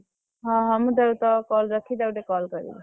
ହଁ ହଁ ମୁଁ ତୋ call ରଖି ତାକୁ ଟିକେ call କରିବି।